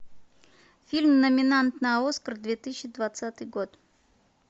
фильм номинант на оскар две тысячи двадцатый год